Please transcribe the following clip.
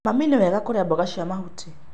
Mami, nĩ wega kũrĩa mboga cia mahuti.